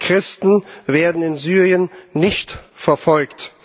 Denn Christen werden in Syrien nicht verfolgt.